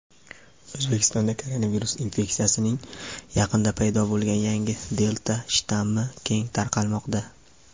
O‘zbekistonda koronavirus infeksiyasining yaqinda paydo bo‘lgan yangi "delta" shtammi keng tarqalmoqda.